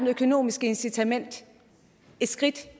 økonomiske incitament et skridt